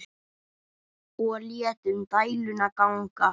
Og létum dæluna ganga.